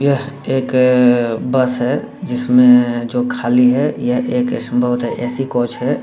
यह एक बस है जिसमें जो खाली है यह एक संभवतः ए.सी. कोच है।